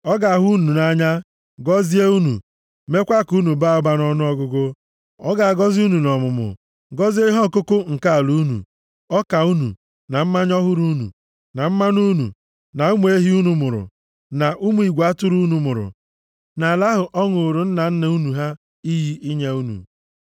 Ọ ga-ahụ unu nʼanya, gọzie unu, meekwa ka unu baa ụba nʼọnụọgụgụ. Ọ ga-agọzi unu nʼọmụmụ, gọzie ihe ọkụkụ nke ala unu, ọka unu, na mmanya ọhụrụ unu, na mmanụ unu, na ụmụ ehi unu mụrụ, na ụmụ igwe atụrụ unu mụrụ, nʼala ahụ ọ ṅụụrụ nna nna unu ha iyi inye unu.